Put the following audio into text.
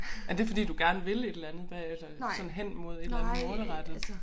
Er det fordi du gerne vil et eller andet bagefter sådan hen mod et eller andet målrettet